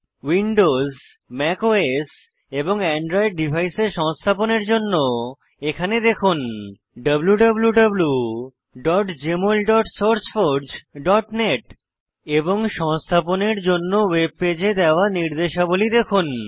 Windows Mac OS এবং Android ডিভাইসে সংস্থাপনের জন্য এখানে দেখুন wwwjmolsourceforgenet এবং সংস্থাপনের জন্য ওয়েব পেজে দেওয়া নির্দেশাবলী দেখুন